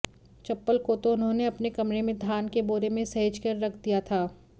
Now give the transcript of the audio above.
चप्पल को तो उन्होंने अपने कमरे में धान के बोरे में सहेजकर रख दिया था